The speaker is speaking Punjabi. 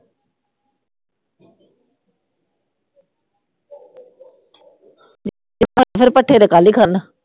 ਫਿਰ ਭੱਠੇ ਤੇ ਕਰਨਾ